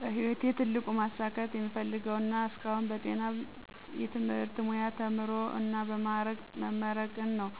በህይወቴ ትልቁ ማሳካት የምፈልገው እና ያሳካሁት በጤና የትምህርት ሙያ ተምሮ እና በ ማዕረግ መመረቅን ነው።